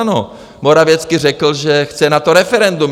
Ano, Morawiecki řekl, že chce na to referendum.